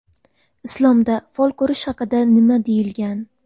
Islomda fol ko‘rish haqida nima deyilgan?.